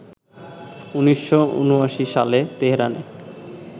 ১৯৭৯ সালে তেহরানে